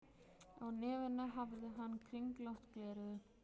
Á nefinu hafði hann kringlótt gleraugu.